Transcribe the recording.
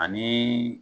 Ani